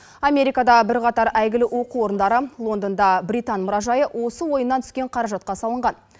америкада бірқатар әйгілі оқу орындары лондонда британ мұражайы осы ойыннан түскен қаражатқа салынған